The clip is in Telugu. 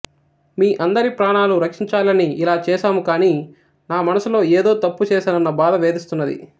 మీ అందరి ప్రాణాలను రక్షించాలని ఇలా చేసాము కాని నా మనసులో ఏదో తప్పు చేసానన్న బాధ వేధిస్తున్నది